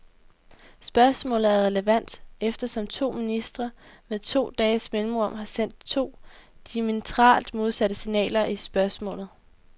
Spørgsmålet er relevant, eftersom to ministre, med to dages mellemrum, har sendt to diametralt modsatte signaler i spørgsmålet.